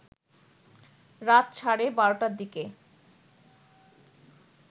রাত সাড়ে বারোটার দিকে